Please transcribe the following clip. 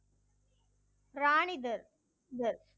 ராணி தர் தர்